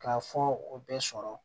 K'a fɔ o bɛɛ sɔrɔ